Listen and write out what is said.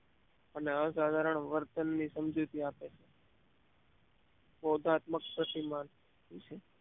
અને અસાધારણ વર્તનની સમજૂતી આપે છે બોધાત્મક પ્રતિમાન વિશે